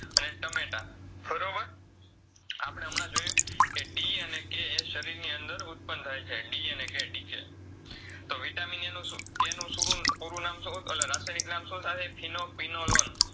આપડે હમળા જોયું કે D અને K શરીરની અંદર ઉત્પન થાય છે D અને KDK તો Vitamin A નું શું K નું શુંરૂ પૂરું નામ શું ઓલું રાસાયનીક નામ શું થસે